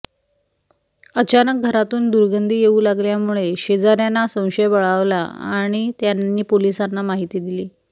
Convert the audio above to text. अचानक घरातून दुर्गंधी येऊ लागल्यामुळे शेजाऱ्यांना संशय बळावला आणि त्यांनी पोलिसांनी माहिती दिली